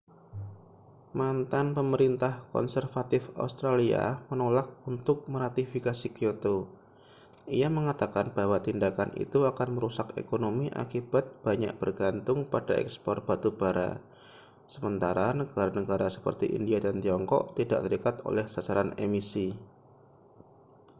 mantan pemerintah konservatif australia menolak untuk meratifikasi kyoto ia mengatakan bahwa tindakan itu akan merusak ekonomi akibat banyak bergantung pada ekspor batu bara sementara negara-negara seperti india dan tiongkok tidak terikat oleh sasaran emisi